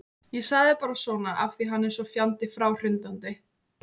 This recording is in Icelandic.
Ég sagði bara svona af því að hann er svo fjandi fráhrindandi.